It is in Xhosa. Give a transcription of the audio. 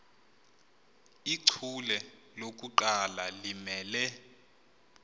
ichule lokuqala limele